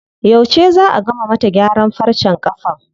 Yauce zaa a gama mata gyaran farcen ƙafan?